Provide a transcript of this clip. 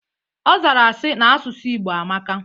Ọzara sị, na asụsụ Igbo amaka